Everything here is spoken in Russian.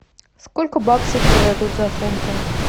сколько баксов мне дадут за фунты